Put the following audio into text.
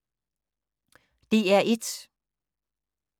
DR1